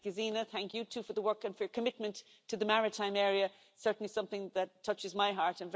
Gesine Meißner, thank you too for the work and your commitment to the maritime area, certainly something that touches my heart.